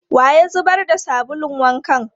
Wa ya zubar da sabulun wankan?